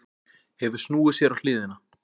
Hefur snúið sér á hliðina.